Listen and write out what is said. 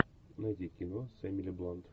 найди кино с эмили блант